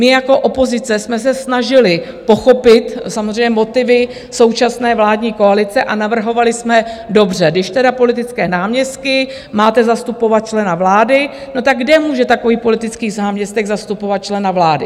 My jako opozice jsme se snažili pochopit samozřejmě motivy současné vládní koalice a navrhovali jsme, dobře, když teda politické náměstky, máte zastupovat člena vlády, no tak kde může takový politický náměstek zastupovat člena vlády?